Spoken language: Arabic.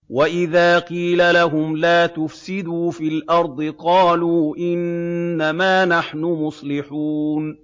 وَإِذَا قِيلَ لَهُمْ لَا تُفْسِدُوا فِي الْأَرْضِ قَالُوا إِنَّمَا نَحْنُ مُصْلِحُونَ